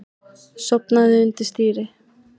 Sofnaði undir stýri